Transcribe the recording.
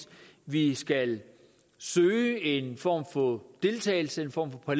vi skal søge en form for deltagelse en form for